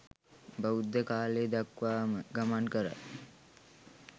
බුද්ධ කාලය දක්වාම ගමන් කරයි.